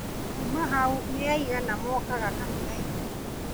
Kuuma hau nĩ aigana mookaga kanitha-inĩ